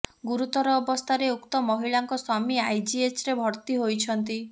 ଗୁରୁତର ଅବସ୍ଥାରେ ଉକ୍ତ ମହିଳାଙ୍କ ସ୍ବାମୀ ଆଇଜିଏଚରେ ଭର୍ତ୍ତି ହୋଇଛନ୍ତି